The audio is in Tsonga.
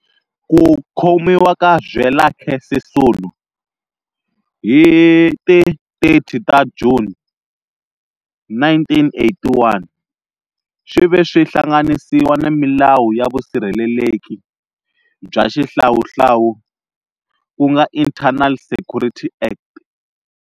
Ku khomiwa ka Zwelakhe Sisulu hi ti 30 ta Juni 1981, swi ve swi hlanganisiwa na milawu ya vusirheleleki bya xihlawuhlawu ku nga Internal Security Act.